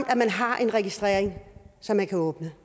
at man har en registrering så man kan åbne